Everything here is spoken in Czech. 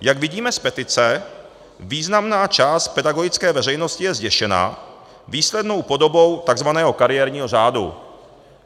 Jak vidíme z petice, významná část pedagogické veřejnosti je zděšena výslednou podobou tzv. kariérního řádu.